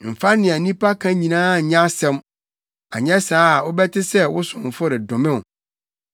Mfa nea nnipa ka nyinaa nyɛ asɛm, anyɛ saa a wobɛte sɛ wo somfo redome wo,